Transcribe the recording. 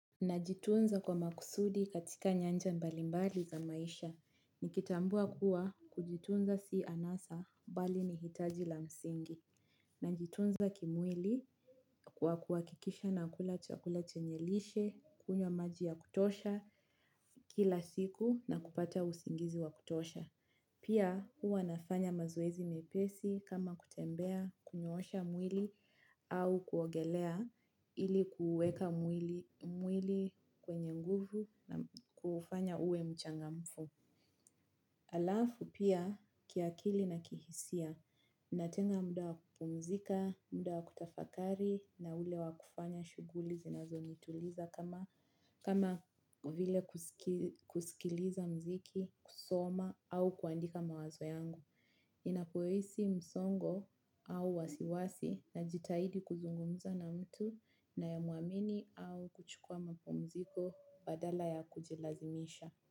Najitunza kwa maksudi katika nyanja mbalimbari za maisha, nikitambua kuwa kujitunza si anasa bali nihitaji la msingi. Najitunza kimwili kwa kuhakikisha nakula chakula chenye lishe, kunywa maji ya kutosha kila siku na kupata usingizi wa kutosha. Pia huwa nafanya mazoezi mepesi kama kutembea, kunyoosha mwili au kuogelea ili kuuweka mwili kwenye nguvu na kuufanya uwe mchangamfu. Alafu pia kiakili na kihisia natenga muda wa kupumzika, muda wa kutafakari na ule wa kufanya shuguli zinazo nituliza kama vile kusikiliza mziki, kusoma au kuandika mawazo yangu. Ninapohisi msongo au wasiwasi na jitahidi kuzungumza na mtu naye muamini au kuchukua mapumziko badala ya kujilazimisha.